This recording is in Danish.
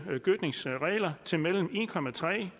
gødskningsregler til mellem en